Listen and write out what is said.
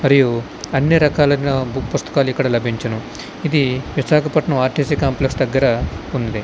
మరియు అన్ని రకాల బుక్ పుస్తకాలు ఇక్కడ లబించును ఇది విశాఖపట్నం ఆర్టిసి కాంప్లెక్స్ దగ్గర వుంది.